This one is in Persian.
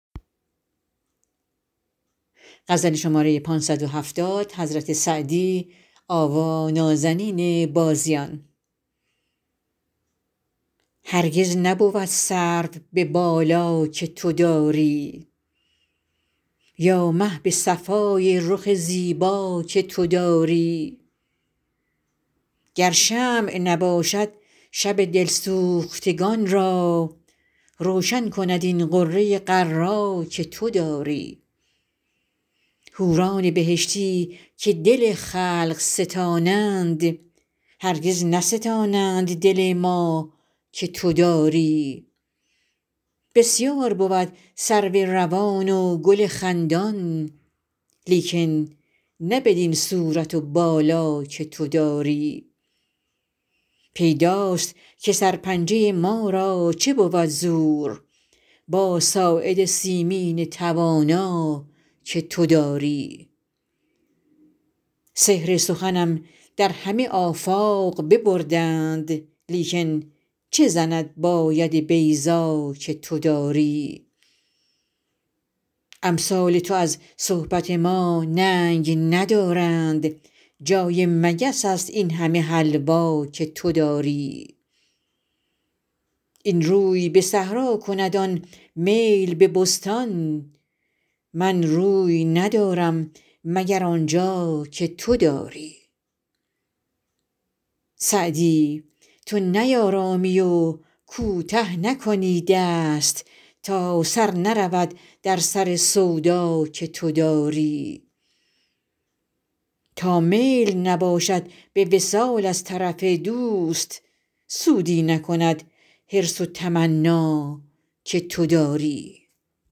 هرگز نبود سرو به بالا که تو داری یا مه به صفای رخ زیبا که تو داری گر شمع نباشد شب دل سوختگان را روشن کند این غره غر‍ ا که تو داری حوران بهشتی که دل خلق ستانند هرگز نستانند دل ما که تو داری بسیار بود سرو روان و گل خندان لیکن نه بدین صورت و بالا که تو داری پیداست که سرپنجه ما را چه بود زور با ساعد سیمین توانا که تو داری سحر سخنم در همه آفاق ببردند لیکن چه زند با ید بیضا که تو داری امثال تو از صحبت ما ننگ ندارند جای مگس است این همه حلوا که تو داری این روی به صحرا کند آن میل به بستان من روی ندارم مگر آن جا که تو داری سعدی تو نیآرامی و کوته نکنی دست تا سر نرود در سر سودا که تو داری تا میل نباشد به وصال از طرف دوست سودی نکند حرص و تمنا که تو داری